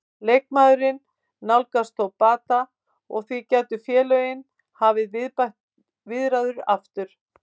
Leikmaðurinn nálgast þó bata og því gætu félögin hafið viðræður aftur.